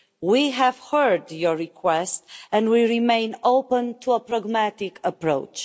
We have heard your request and we remain open to a pragmatic approach.